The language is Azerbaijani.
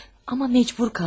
Amma məcbur qaldım.